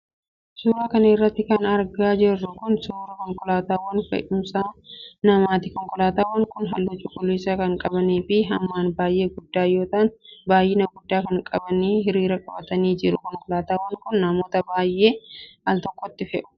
Suura kana irratti kan argaa jirru kun, suura konkolaataawwan fe'uumsa namaati. Konkolaataawwan kun, haalluu cuquliisa kan qabanii fi hammaan baay'ee guguddaa yoo ta'an ,baay'ina guddaa kan qaban hirriira qabatanii jiru. Konkolaataawwan kun, namoota baay'ee al tokkotti fe'u.